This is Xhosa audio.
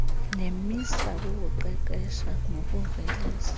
nemisa kukuqeqesha nokuvelisa